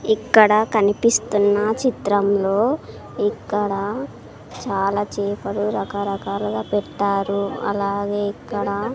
ఇక్కడ కనిపిస్తున్నా చిత్రంలో ఇక్కడా చాలా చేపలు రకరకాలుగా పెట్టారు అలాగే ఇక్కడా--